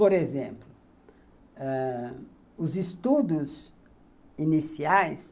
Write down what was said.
Por exemplo, ãh, os estudos iniciais